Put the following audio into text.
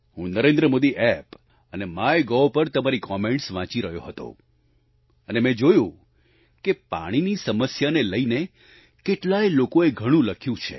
હું નરેન્દ્ર મોદી એપ અને માયગોવ પર તમારી કમેન્ટ્સ વાંચી રહ્યો હતો અને મેં જોયું કે પાણીની સમસ્યાને લઈને કેટલાય લોકોએ ઘણું લખ્યું છે